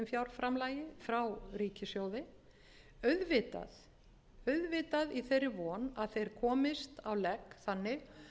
eiginfjárframlagi frá ríkissjóði auðvitað í þeirri von að þeir komist á legg þannig